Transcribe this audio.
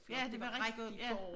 Ja det var rigtig ja